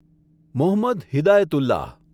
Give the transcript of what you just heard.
Mohammad Hidayatullah